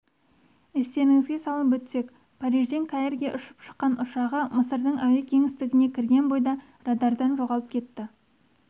естеріңізге салып өтсек парижден каирге ұшып шыққан ұшағы мысырдың әуе кеңістігіне кірген бойда радардан жоғалып кетті